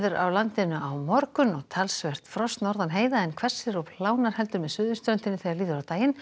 á landinu á morgun og talsvert frost norðan heiða en hvessir og heldur með suðurströndinni þegar líður á daginn